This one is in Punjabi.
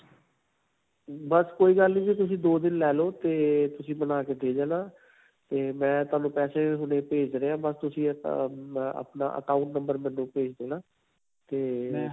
ਬਸ ਕੋਈ ਗੱਲ ਨਹੀਂ ਜੀ. ਤੁਸੀ ਦੋ ਦਿਨ ਲੈ ਲੋ ਤੇ ਤੁਸੀਂ ਬਣਾਕੇ ਦੇ ਜਾਣਾ ਤੇ ਮੈਂ ਤੁਹਾਨੂੰ ਪੈਸੇ ਹੁਣੇ ਭੇਜ ਰਿਹਾ. ਬਸ ਤੁਸੀਂ ਆਪਣਾ account number ਮੈਨੂੰ ਭੇਜ ਦੇਣਾ ਤੇ.